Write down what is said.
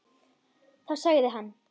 Þá sagði hann